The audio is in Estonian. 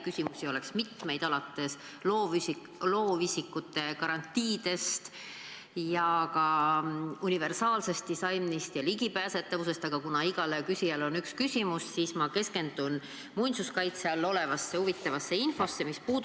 Küsimusi oleks mitmeid – alates loovisikute garantiidest kuni universaalse disaini ja ligipääsetavuseni –, aga kuna igal küsijal on üks küsimus, siis ma keskendun muinsuskaitse all olevaid objekte puudutavale huvitavale infole.